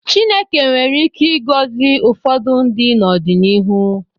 Chineke nwere ike ịgọzi ụfọdụ ndị n’ọdịnihu.